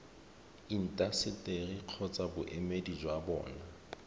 intaseteri kgotsa boemedi jwa bona